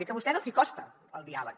és que a vostès els hi costa el diàleg